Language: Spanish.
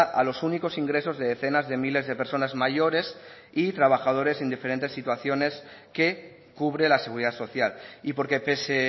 a los únicos ingresos de decenas de miles de personas mayores y trabajadores en diferentes situaciones que cubre la seguridad social y porque pese